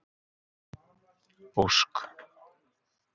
Ósk